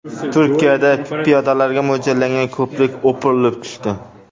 Turkiyada piyodalarga mo‘ljallangan ko‘prik o‘pirilib tushdi .